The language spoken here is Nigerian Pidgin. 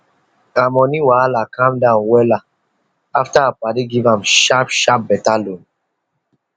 her money wahala calm down wella after her padi give am sharp sharp better loan